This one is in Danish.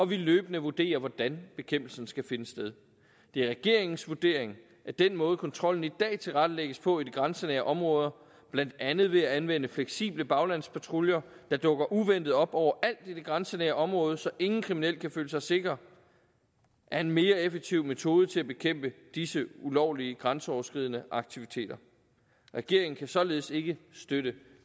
vi løbende vurderer hvordan bekæmpelsen skal finde sted det er regeringens vurdering at den måde kontrollen i dag tilrettelægges på i de grænsenære områder blandt andet ved at anvende fleksible baglandspatruljer der dukker uventet op overalt i det grænsenære område så ingen kriminel kan føle sig sikker er en mere effektiv metode til at bekæmpe disse ulovlige grænseoverskridende aktiviteter regeringen kan således ikke støtte